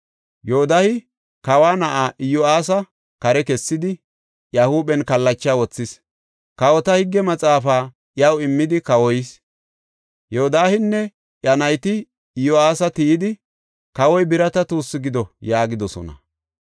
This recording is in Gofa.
Yoodahe kawa na7aa Iyo7aasa kare kessidi, iya huuphen kallacha wothis; kawota higge maxaafaa iyaw immidi kawoyis. Yodaaheynne iya nayti Iyo7aasa tiyidi, “Kawoy birata tuussu gido” yaagidosona.